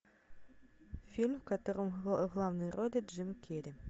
фильм в котором в главной роли джим керри